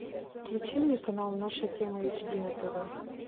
включи мне канал наша тема эйчди на тв